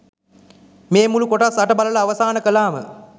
මේ මුළු කොටස් අට බලලා අවසාන කළාම.